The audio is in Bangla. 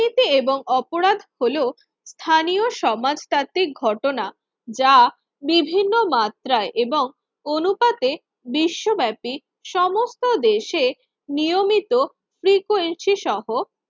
দুর্নীতিতে এবং অপরাধ হলো স্থানীয় সমাজব্যতিক ঘটনা যা বিভিন্ন মাত্রায় এবং অনুপাতে বিশ্বব্যাপী সমস্ত দেশে নিয়মিত frequency সহ